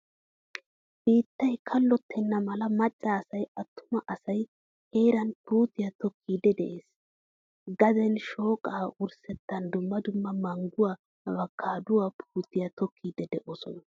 Biittay kallottena mala macca asay attuma asay heeran puutiya tokkidi de'ees. Gaden shoqqa wurssettan dumma dumma mangguwaa, avokaduwaa putiyaa tokkidii de'osona.